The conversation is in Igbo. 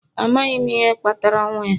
Amaghị m ihe kpatara ọnwụ ya